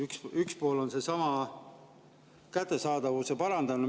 Üks pool on seesama müügiloata ravimite kättesaadavuse parandamine.